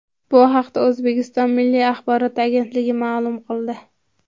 Bu haqda O‘zbekiston Milliy axborot agentligi ma’lum qildi .